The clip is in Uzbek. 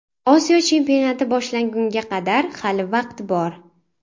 Osiyo chempionati boshlangunga qadar hali vaqt bor.